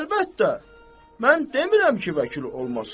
Əlbəttə, mən demirəm ki, vəkil olmasın.